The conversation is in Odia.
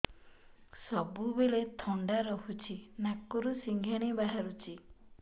ସବୁବେଳେ ଥଣ୍ଡା ରହୁଛି ନାକରୁ ସିଙ୍ଗାଣି ବାହାରୁଚି